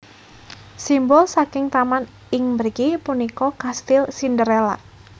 Simbol saking taman ing mriki punika kastil Cinderella